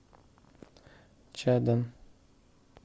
чадан